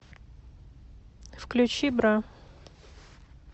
включи бра